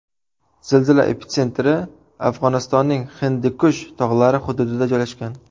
Zilzila epitsentri Afg‘onistonning Hindikush tog‘lari hududida joylashgan.